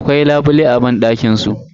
Akwai labule a banɗakin su.